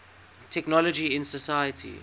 technology in society